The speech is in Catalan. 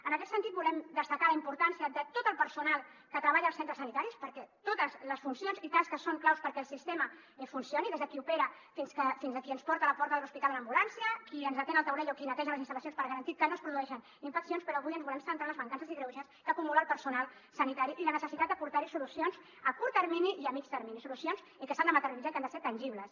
en aquest sentit volem destacar la importància de tot el personal que treballa als centres sanitaris perquè totes les funcions i tasques són claus perquè el sistema funcioni des de qui opera fins a qui ens porta a la porta de l’hospital en ambulància qui ens atén al taulell o qui neteja les instal·lacions per garantir que no es produeixen infeccions però avui ens volem centrar en les mancances i greuges que acumula el personal sanitari i la necessitat d’aportar hi solucions a curt termini i a mitjà termini solucions que s’han de materialitzar i que han de ser tangibles